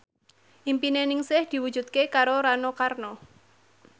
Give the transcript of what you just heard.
impine Ningsih diwujudke karo Rano Karno